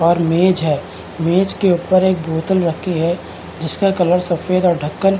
और मेज़ है मेज़ के ऊपर एक बोतल रखी हुई है जिसमें कवर सफ़ेद और ढक्कन --